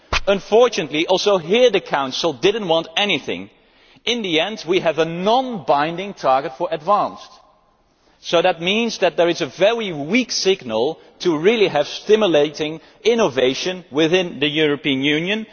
Unfortunately, here also the Council did not want anything. In the end, we have a non binding target for advanced fuels, so that means that there is a very weak signal for stimulating innovation within the European Union.